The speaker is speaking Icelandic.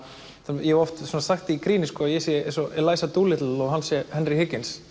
ég hef oft sagt í gríni að ég sé eins og Eliza Dolittle og hann sé Henry